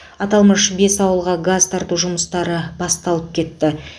аталмыш бес ауылға газ тарту жұмыстары басталып кетті